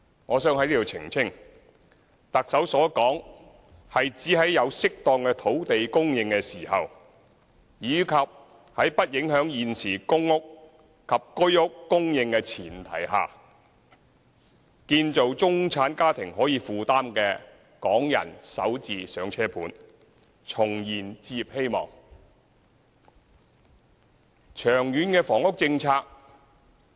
我想在此澄清，特首所指的是，如果有適當土地供應，以及在不影響現時公共出租房屋及居屋供應的前提下，會建造中產家庭可以負擔的港人首置"上車盤"，重燃置業希望。